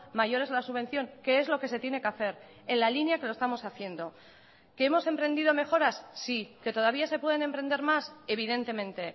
mayor es la subvención que es lo que se tiene que hacer en la línea que lo estamos haciendo que hemos emprendido mejoras sí que todavía se pueden emprender más evidentemente